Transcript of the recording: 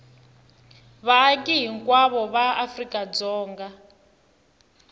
vaaki hinkwavo va afrika dzonga